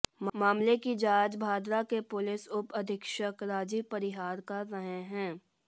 मामले की जांच भादरा के पुलिस उप अधीक्षक राजीव परिहार कर रहे हैं